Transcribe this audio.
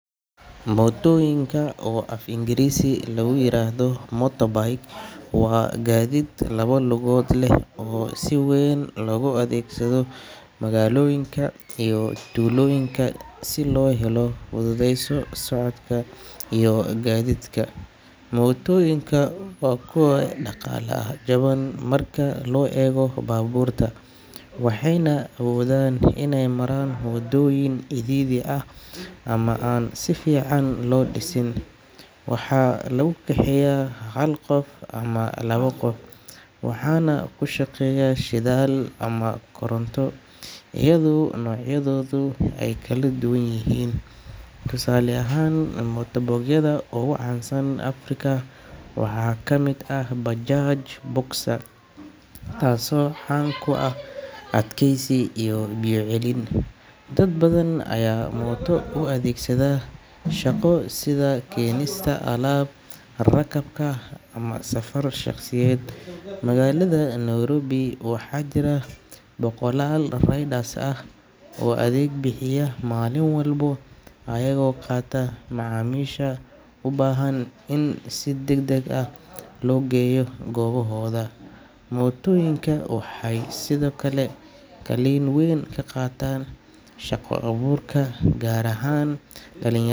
Mootooyinka, oo af Ingiriisi lagu yiraahdo motorbike, waa gaadiid laba lugood leh oo si weyn loogu adeegsado magaalooyinka iyo tuulooyinka si loo fududeeyo socodka iyo gaadiidka. Mootooyinku waa kuwo dhaqaale ahaan jaban marka loo eego baabuurta, waxayna awoodaan inay maraan waddooyin cidhiidhi ah ama aan si fiican loo dhisin. Waxaa lagu kaxeeyaa hal qof ama laba qof, waxaana ku shaqeeya shidaal ama koronto iyadoo noocyadoodu ay kala duwan yihiin. Tusaale ahaan, motorbike-yada ugu caansan Afrika waxaa kamid ah Bajaj Boxer, taasoo caan ku ah adkeysi iyo biyo celin. Dad badan ayaa mooto u adeegsada shaqo sida keenista alaab, rakaabka, ama safar shaqsiyeed. Magaalada Nairobi, waxaa jira boqollaal riders ah oo adeeg bixiya maalin walba iyagoo qaata macaamiisha u baahan in si degdeg ah loo geeyo goobahooda. Mootooyinka waxay sidoo kale kaalin weyn ka qaataan shaqo-abuurka, gaar ahaan dhali.